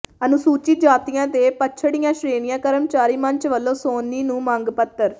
ਅਨੂਸੁਚਿਤ ਜਾਤੀਆਂ ਤੇ ਪੱਛੜੀਆਂ ਸ਼੍ਰੇਣੀਆਂ ਕਰਮਚਾਰੀ ਮੰਚ ਵਲੋਂ ਸੋਨੀ ਨੂੰ ਮੰਗ ਪੱਤਰ